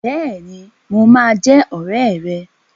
Bẹ́ẹ̀ni, mo máa jẹ́ ọ̀rẹ́ rẹ.